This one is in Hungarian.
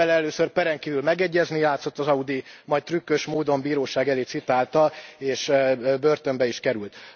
Vele először peren kívül megegyezni játszott az Audi, majd trükkös módon bíróság elé citálta és börtönbe is került.